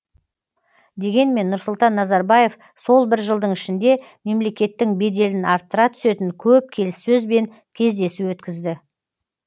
дегенмен нұрсұлтан назарбаев сол бір жылдың ішінде мемлекеттің беделін арттыра түсетін көп келіссөз бен кездесу өткізді